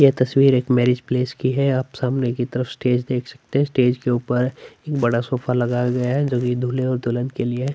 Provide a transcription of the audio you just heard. यह तस्वीर एक मैरिज प्लेस की है आप सामने की तरफ स्टेज देख सकते है स्टेज के ऊपर एक बड़ा सोफा लगाया गया है जो की दूल्है और दुल्हन के लिए है।